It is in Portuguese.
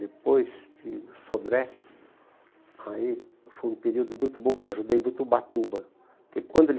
Depois de o Sodré, aí foi um período muito bom que eu ajudei muito o Ubatuba, porque quando ele...